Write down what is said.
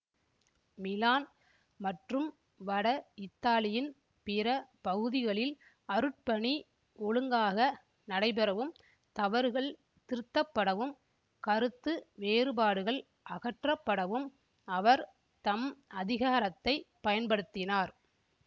Milan மற்றும் வட இத்தாலியின் பிற பகுதிகளில் அருட்பணி ஒழுங்காக நடைபெறவும் தவறுகள் திருத்தப்படவும் கருத்து வேறுபாடுகள் அகற்றப்படவும் அவர் தம் அதிகாரத்தை பயன்படுத்தினார்